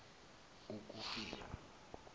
ukufika